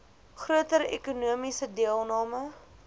groter ekonomiese deelname